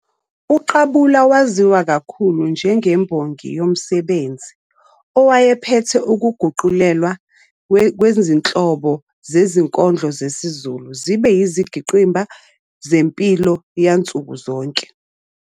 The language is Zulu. UQabula waziwa kakhulu "njengembongi yomsebenzi" owayephethe ukuguqulelwa kwezinhlobo zezinkondlo zesiZulu zibe izingqikimba zempilo yansuku zonke.